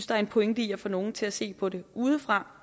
der er en pointe i at få nogle til at se på det udefra